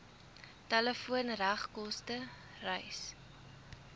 telefoon regskoste reis